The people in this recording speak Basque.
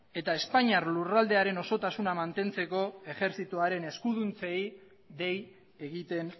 eta espainiar lurraldearen osotasuna mantentzeko ejertzitoaren eskuduntzei dei egiten